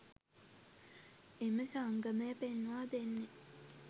එම සංගමය පෙන්වා දෙන්නේ